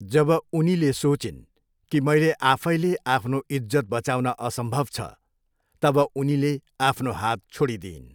जब उनीले सोचिन् कि मैले आफैले आफ्नो इज्जत बचाउन असम्भव छ, तब उनीले आफ्नो हात छोडिदिइन्।